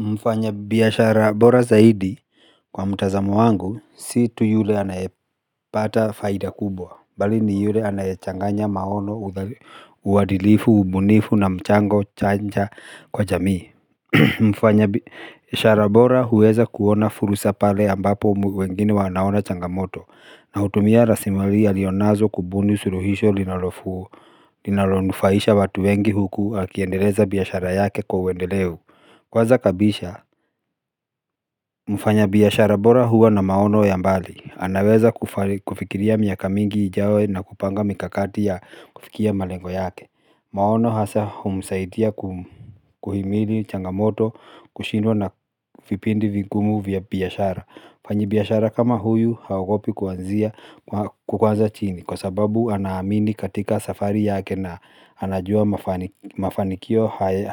Mfanya biashara bora zaidi kwa mtazamo wangu si tu yule anayepata faida kubwa bali ni yule anayechanganya maono uadilifu ubunifu na mchango chanja kwa jamii mfanya biashara bora huweza kuona furusa pale ambapo wengine wanaona changamoto na hutumia raslimali alionazo kubuni suruhisho linalofuu linalonufaisha watu wengi huku akiendeleza biashara yake kwa uwendeleu kwaza kabisha. Mfanya biashara bora huwa na maono ya mbali. Anaweza kufikiria miaka mingi ijawe na kupanga mikakati ya kufikia malengo yake. Maono hasa humsaitia kuhimili changamoto kushindwa na vipindi vingumu vya biashara. Mfanyi biashara kama huyu haogopi kuanzia kwanza chini kwa sababu anaamini katika safari yake na anajua mafanikio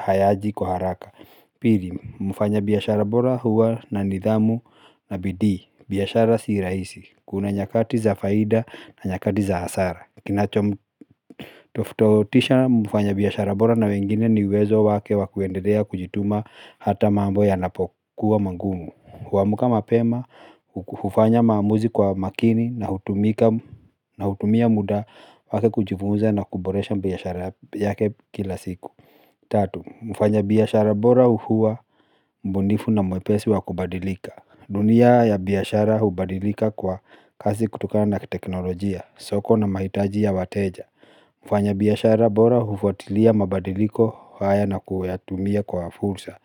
hayaji kwa haraka. Pili, mufanya biashara bora huwa na nidhamu na bidii, biashara si rahisi, kuna nyakati za faida na nyakati za hasara. Kinachomu toftoutisha mfanya biashara bora na wengine ni uwezo wake wa kuendelea kujituma hata mambo yanapokuwa mangumu. Huamka mapema, hufanya maamuzi kwa makini na hutumia muda wake kujifunza na kuboresha biashara yake kila siku. Tatu, mfanya biashara bora hua mbunifu na mwepesi wa kubadilika. Dunia ya biashara hubadilika kwa kasi kutokana na teknolojia, soko na mahitaji ya wateja. Mfanya biashara bora hufuatilia mabadiliko haya na kuyatumia kwa fursa.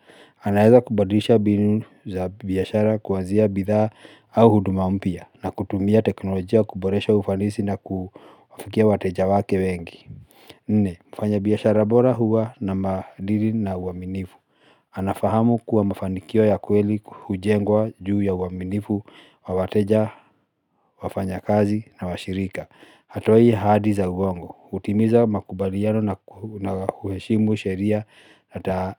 Anaeza kubadisha binu biashara kuazia bidhaa au huduma mpya. Na kutumia teknolojia kuboresha ufanisi na ku wafikia wateja wake wengi. Nne, mfanya biashara bora huwa na maadiri na uaminifu. Anafahamu kuwa mafanikio ya kweli hujengwa juu ya uaminifu, wa wateja, wafanyakazi na washirika. Hatoi haadi za uongo, hutimiza makubaliano na huheshimu sheria na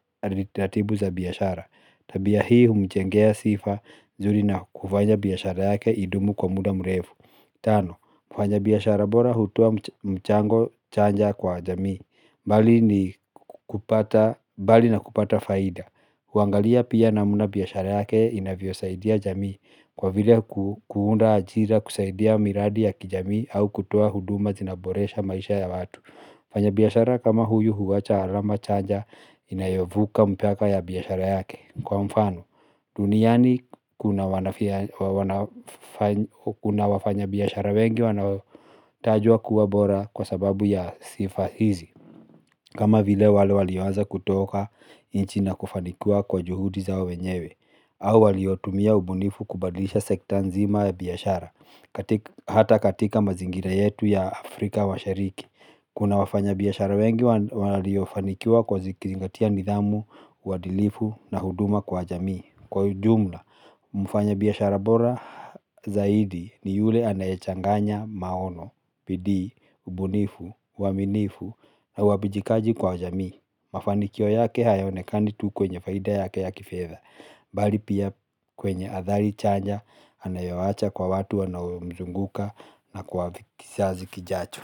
taratibu za biashara. Tabia hii humjengea sifa zuri na kufanya biashara yake idumu kwa muda mrefu. Tano, mfanya biashara bora hutoa mchango chanja kwa jamii. Bali na kupata faida huangalia pia namuna biashara yake inavyosaidia jamii. Kwa vile kuunda ajira kusaidia miradi ya kijamii au kutoa huduma zinaboresha maisha ya watu mfanya biashara kama huyu huwacha alama chaja inayovuka mipaka ya biashara yake kwa mfano, duniani kuna wafanya biashara wengi wanaotajwa kuwa bora kwa sababu ya sifa hizi. Kama vile wale walioaza kutoka inchi na kufanikiwa kwa juhudi zao wenyewe. Au waliotumia ubunifu kubadlisha sekta nzima ya biashara. Hata katika mazingira yetu ya Afrika washariki. Kuna wafanya biashara wengi waliofanikiwa kwa zikizingatia nidhamu, uadilifu na huduma kwa jamii. Kwa ujumla, mfanya biashara bora zaidi ni yule anayechanganya maono, bidii, ubunifu, uaminifu na uwabijikaji kwa jamii. Mafanikio yake hayaonekani tu kwenye faida yake ya kifedha. Bali pia kwenye athari chanya anayoacha kwa watu wanaomzunguka na kwa vi kisazi kijacho.